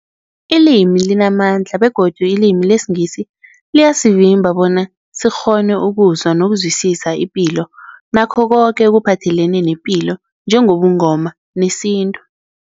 Ilimi limamandla begodu ilimi lesiNgisi liyasivimba bona sikghone ukuzwa nokuzwisisa ipilo nakho koke ekuphathelene nepilo njengobuNgoma nesintu.